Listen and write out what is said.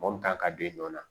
Mɔ kan ka don yen nɔ